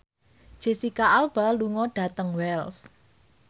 Jesicca Alba lunga dhateng Wells